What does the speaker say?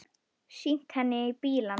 Sýnt henni inn í bílana.